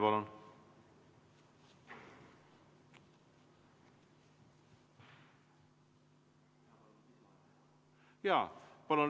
Palun!